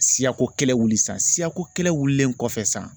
Siyako kɛlɛ wili sisan, siyako kɛlen wililen kɔfɛ san